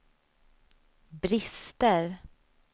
brister